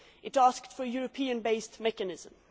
It asked for a European based mechanism.